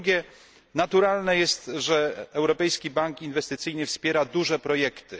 Po drugie, naturalne jest, że Europejski Bank Inwestycyjny wspiera duże projekty.